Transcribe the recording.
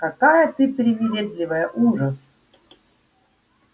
какая ты привередливая ужас